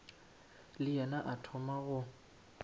le yena a thoma go